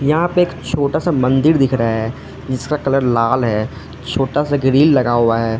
यहां पे एक छोटा सा मंदिर दिख रहा है जिसका कलर लाल है छोटा सा ग्रील लगा हुआ है।